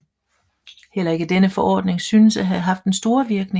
Heller ikke denne forordning synes at have haft den store voirkning